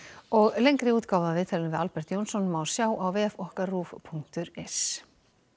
lengri útgáfu af viðtalinu við Albert Jónsson má sjá á vef okkar punktur is